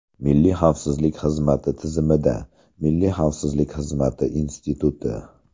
Milliy xavfsizlik xizmati tizimida: Milliy xavfsizlik xizmati instituti.